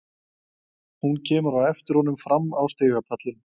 Hún kemur á eftir honum fram á stigapallinn.